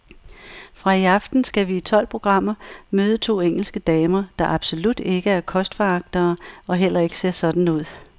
Fra i aften skal vi i tolv programmer møde to engelske damer, der absolut ikke er kostforagtere og heller ikke ser sådan ud.